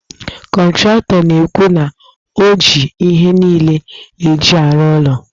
Kọntratọ na-ekwu na o ji ihe niile e ji arụ ụlọ a